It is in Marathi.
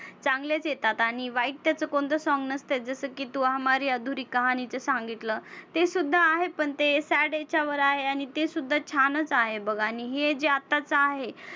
चांगलेच येतात आणि वाईट त्याचं कोणतंच song नसतं की तू हमारी अधुरी कहाणीचं सांगितलं. ते सुद्धा आहे पण ते वर आहे आणि तेसुद्धा छानच आहे बघ. आणि हे जे आत्ताचं आहे